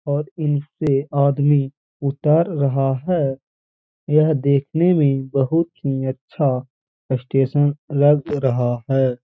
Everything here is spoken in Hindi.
और इनसे आदमी ऊतर रहा है। यह देखने में बहुत ही अच्छा स्टेशन लग रहा है।